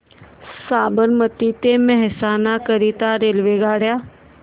साबरमती ते मेहसाणा करीता रेल्वेगाड्या